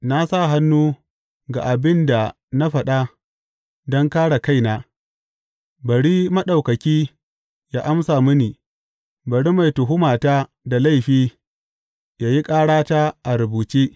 Na sa hannu ga abin da na faɗa don kāre kaina, bari Maɗaukaki yă amsa mini; bari mai tuhumata da laifi yă yi ƙarata a rubuce.